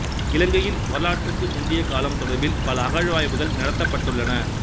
இலங்கையில் வரலாற்றுக்கு முந்திய காலம் தொடர்பில் பல அகழ்வாய்வுகள் நடத்தப்பட்டுள்ளன